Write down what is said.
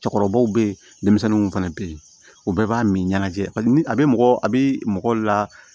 Cɛkɔrɔbaw be yen denmisɛnninw fɛnɛ be yen u bɛɛ b'a min ɲɛnajɛ ni a be mɔgɔ a be mɔgɔw la